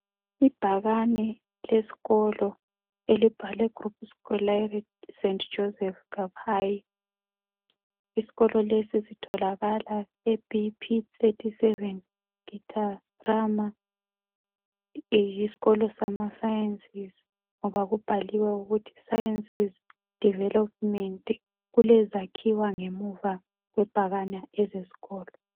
Ibhakane leskolo elibhalwe GROUPE SCOLAIRE ST JOSEPH KABGAYI.Iskolo lesi sitholakala eBP 37 Gitarama. Yiskolo sama sciences ngoba kubhaliwe ukuthi sciences development. Kulezakhiwa ngemva kwebhakane ezeskolo.